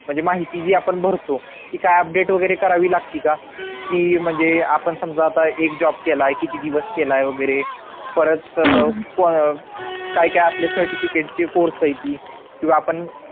म्हणजे माहिती जी आपण भरतो ती काय update वगैरे करावी लागती का ती म्हणजे आपण समजा आता एक job केलाय किती दिवस केलाय वगैरे परत अं काय काय आपले certificate चे course येत किंवा आपण